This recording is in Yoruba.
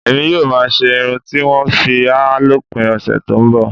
Èmi yóò máa ṣe irun tí wọ́n ń fi háà lópin ọ̀sẹ̀ tó ń bọ̀